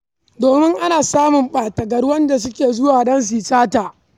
Domin ana samun ɓata-gari, waɗanda suke zuwa don su yi sata.